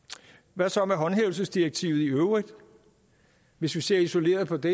hvad så med håndhævelsesdirektivet i øvrigt hvis vi ser isoleret på det